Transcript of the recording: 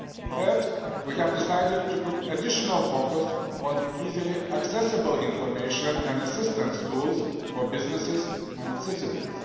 Third, we have decided to put additional focus on easily accessible information and assistance tools for businesses and citizens.